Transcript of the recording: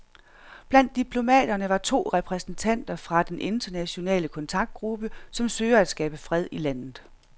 Blandt diplomaterne var to repræsentanter fra den internationale kontaktgruppe, som søger at skabe fred i landet.